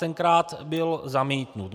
Tenkrát byl zamítnut.